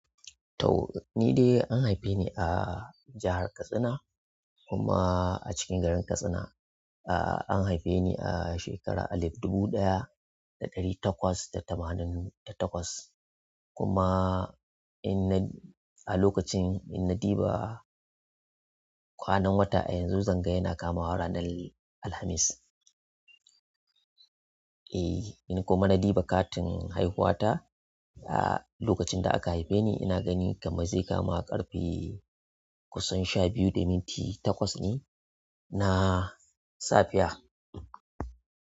To ni dai an haife ni a jahar Katsina kuma a cikin garin Katsina. An haife ni a shekara alif dubu ɗaya da ɗari takwas da tamanin da takwas. Kuma a lokacin in na ɗiba kwanan wata a yanzu zan ga yana kamawa ranar Alhamis. In na kuma na ɗuba katin haihuwa ta a lokacin da aka haife ni ina gani kamar zai kama ƙarfe kusan sha biyu da minti takwas ne na safiya.